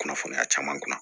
Kunnafoniya caman kun